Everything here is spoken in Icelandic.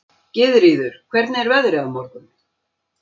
Gyðríður, hvernig er veðrið á morgun?